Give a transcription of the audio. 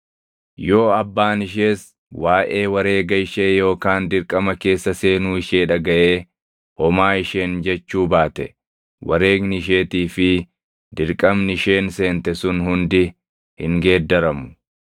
yoo abbaan ishees waaʼee wareega ishee yookaan dirqama keessa seenuu ishee dhagaʼee homaa isheen jechuu baate wareegni isheettii fi dirqamni isheen seente sun hundi hin geeddaramu.